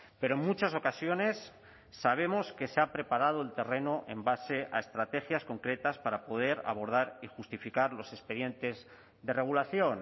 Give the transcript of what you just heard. pero en muchas ocasiones sabemos que se ha preparado el terreno en base a estrategias concretas para poder abordar y justificar los expedientes de regulación